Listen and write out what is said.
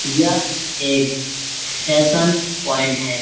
यह एक fashion point है।